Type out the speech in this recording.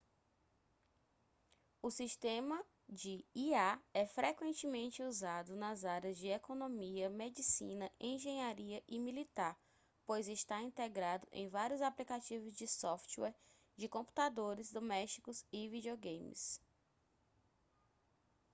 o sistema de ia é frequentemente usado nas áreas de economia medicina engenharia e militar pois está integrado em vários aplicativos de software de computadores domésticos e videogames